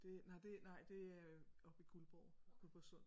Det nej det nej det øh oppe i Guldborg Guldborgsund